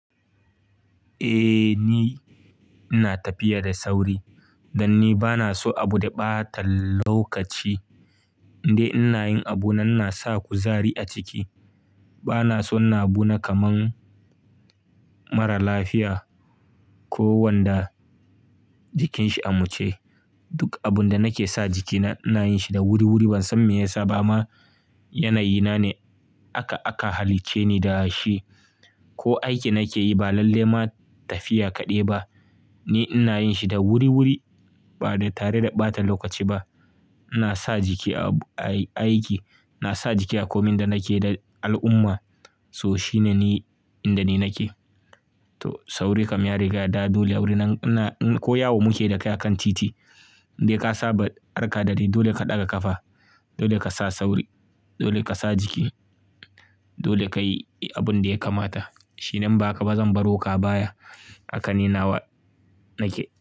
Eh ni ina tafiya da sauri dan ni bana so abu da ɓata lokaci. Inde ina yin abu na ina sa kuzari a ciki. Bana son ina abuna kamar mara lafiya ko wanda jikinshi a muce. Duk abun da nake sa jikina ina yin shi da wuri wuri ban san me yasa ba ma yanayi na ne aka halicce ni da shi. Ko aiki nake yi ba lalle ma tafiya kaɗai ba ni ina yin shi da wuri wuri ba tare da ɓata lokaci ba. Ina sa jiki a aiki, ina sa jiki a komin da nake da al'umma. So shine ni inda ne nake. To sauri ka miya rigada dole a wurin nan ko ya muke da ka kan titi. Inde ka saba harka da dai dole ka ɗaga ƙafa. Dole ka sa sauri, dole ka sa jiki, dole ka yi abin da ya kamata. Shi ne in ba haka ba zan baro ka a baya haka ni nawa nake.